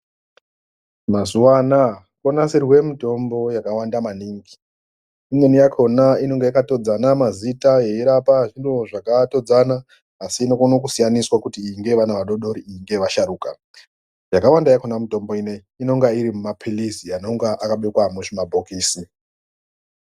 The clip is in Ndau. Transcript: Mazuwana konasirwe mutombo yakwanda maningi imweni yakona inenge yakatodzana mazita yeirapa zviro zvakatodzana asi inokona kusiyaniswa kuti iyi ngeyevana vadodori iyi ngeyevasharukwa. Yakawanda yakona mitombo ineyi inenge irima pilizi anonge akabekwa muzvima bhokisi.